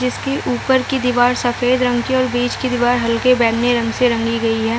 जिसके ऊपर की दिवार सफ़ेद रंग की और बीच की दीवार हल्के बेगनी रंग से रंगी गई है।